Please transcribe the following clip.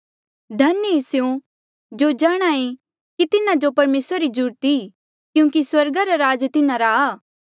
धन्य ऐें स्यों जो जाणहां ऐें कि तिन्हा जो परमेसरा री जरूरत ई क्यूंकि स्वर्गा रा राज तिन्हारा आ